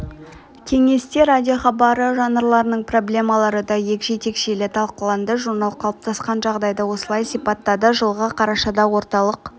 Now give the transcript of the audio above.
кеңесте радиохабары жанрларының проблемалары да егжей тегжейлі талқыланды журнал қалыптасқан жағдайды осылай сипаттады жылғы қарашада орталық